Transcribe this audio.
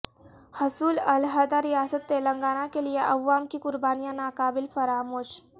حصول علحدہ ریاست تلنگانہ کے لیے عوام کی قربانیاں ناقابل فراموش